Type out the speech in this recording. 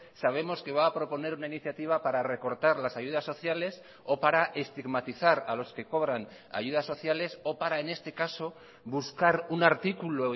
sabemos que va a proponer una iniciativa para recortar las ayudas sociales o para estigmatizar a los que cobran ayudas sociales o para en este caso buscar un artículo